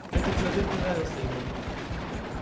этот человек не нравился ему